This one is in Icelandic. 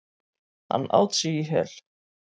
Hann át sig í hel.